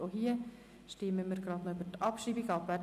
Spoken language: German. Auch hier stimmen wir gleich noch über die Abschreibung ab.